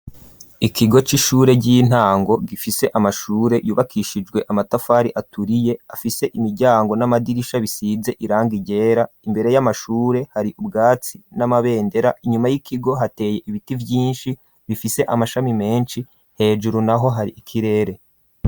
Ikigo c'ishure ry'intango gifise amashure yubakishijwe amatafari aturiye afise imiryango n'amadirisha bisize irangi ryera imbere y'amashure hari ubwatsi n'amabendera inyuma y'ikigo hateye ibiti vyinshi bifise amashami menshi hejuru naho hari ikirere.